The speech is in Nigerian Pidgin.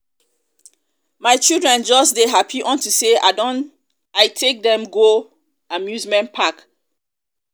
my children just dey happy unto say i don i take dem go amusement park amusement park